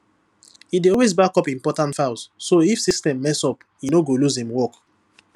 e dey always backup important files so if system mess up e no go lose im work